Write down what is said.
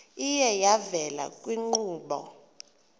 iye yavela kwiinkqubo